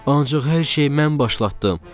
Ancaq hər şey mən başlatdım.